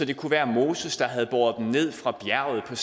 det kunne være moses der havde båret på ned fra bjerget